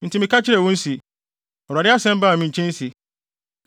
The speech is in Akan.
Enti meka kyerɛɛ wɔn se, “ Awurade asɛm baa me nkyɛn se: